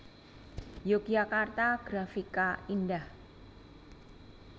Yogyakarta Grafika Indah